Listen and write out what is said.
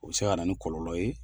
O bɛ se ka na ni kɔlɔlɔ ye.